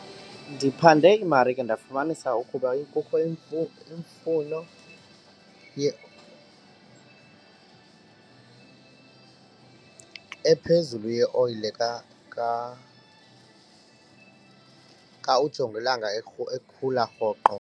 Ndiphande iimarike ndafumanisa ukuba ephezulu yeoyile xa ujongilanga ekhula rhoqo.